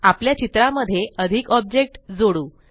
आपल्या चित्रा मध्ये अधिक ऑब्जेक्ट जोडू